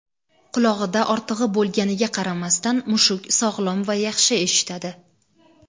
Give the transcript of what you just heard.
qulog‘ida ortig‘i bo‘lganiga qaramasdan mushuk sog‘lom va yaxshi eshitadi.